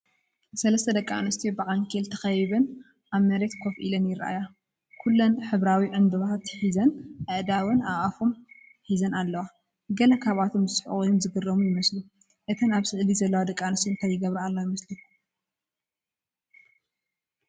ሰለስተ ደቂ ኣንስትዮ ብዓንኬል ተኸቢበን ኣብ መሬት ኮፍ ኢለን ይርኣያ። ኩሎም ሕብራዊ ዕንበባታት ሒዞም ኣእዳዎም ኣፎም ሒዞም ኣለዉ። ገለ ካብኣቶም ዝስሕቁ ወይ ዝግረሙ ይመስሉ። እተን ኣብ ስእሊ ዘለዋ ደቂ ኣንስትዮ እንታይ ይገብራ ኣለዋ ይመስለኩም?